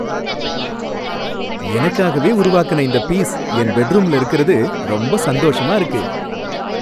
எனக்காகவே உருவாக்கின இந்த பீஸ் என் பெட்ரூம்ல இருக்குறது ரொம்ப சந்தோஷமா இருக்கு